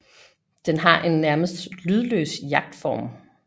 Den har en nærmest lydløs jagtform